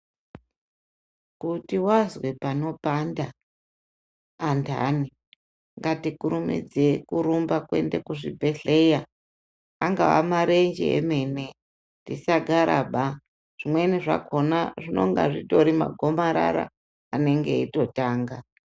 Kuti vazwe panopanda antani, ngatikurumidzei kurumba kuenda kuzvibhedhlera, angaa marenje emene, tisagaraba, zvimweni zvakhona zvinonge zvitori magomarara anenge eitotanga.